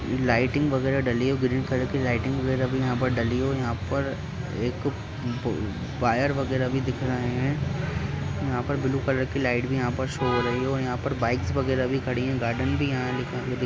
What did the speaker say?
lighting वगैरह डली हुई है ग्रीन कलर की लाइटिंग वगैरह यहाँ पर डली हुई है यहाँ पर एक वायर वगैरह भी दिख रहे हैं यहाँ पर ब्लू कलर की लाइट भी शो हो रही है यहाँ पर बाइक्स वगैरह भी खड़ी है गार्डन भी यहाँ दिख --